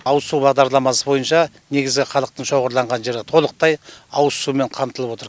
ауыз су бағдарламасы бойынша негізі халықтың шоғырланған жері толықтай ауыз сумен қамтылып отыр